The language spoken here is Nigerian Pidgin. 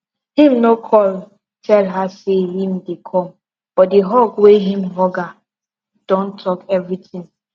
him no call tell her say him dey come but the hug wey him hug her don talk everything